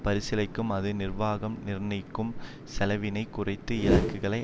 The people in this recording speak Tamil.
பரிசிலிக்கும் அது நிர்வாகம் நிர்ணயிக்கும் செலவினைக் குறைத்து இலக்குகளை